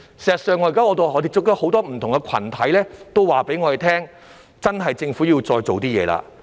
"事實上，我們現時接觸到很多不同的群體也告訴我們，政府真的要再做一點工夫。